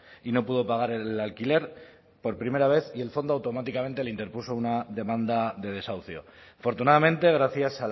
y no pudo pagar el alquiler por primera vez y el fondo automáticamente le interpuso una demanda de desahucio afortunadamente gracias